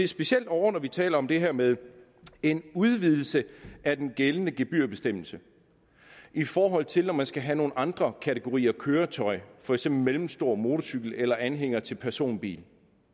specielt når vi taler om det her med en udvidelse af den gældende gebyrbestemmelse i forhold til når man skal have nogle andre kategorier af køretøjer for eksempel mellemstor motorcykel eller anhænger til personbiler